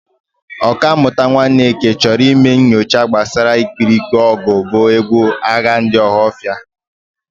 Ọkammụta Nwaneke chọrọ ime nchọcha gbasara ikpirikpe ọgụ bụ egwu agha ndị Ọhafia.